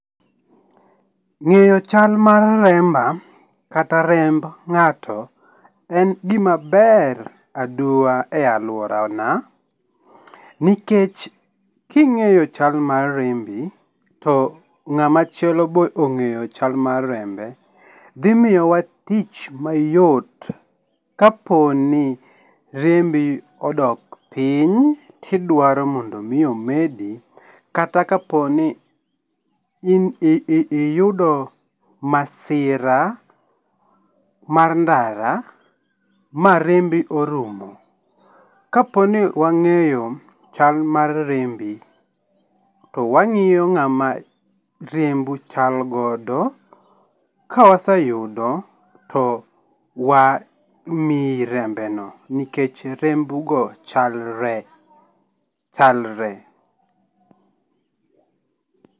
Ng'eyo chal mar remba kata remb ng'ato en gima ber aduwa e aluorana, nikech king'eyo chal mar rembi to ng'ama chielo be ong'eyo chal mar rembe dhi miyowa tich mayot kaponi rembi odok piny, tidwaro mondo mii omedi kata kaponi in iyudo masira mar ndara marembi orumo, kaponi wang'eyo chal mar rembi to wang'iyo ng'ama rembu chal godo, kawaseyudo to wamiyi rembeno nikech rembugo chalre ,chalre.